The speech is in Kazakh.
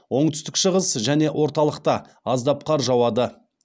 оңтүстік шығыс және орталықта аздап қар жауады